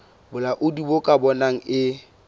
bolaodi bo ka bonang e